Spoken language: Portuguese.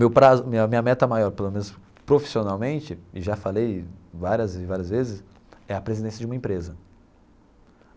Meu prazo minha minha meta maior, pelo menos profissionalmente, e já falei várias e várias vezes, é a presidência de uma empresa.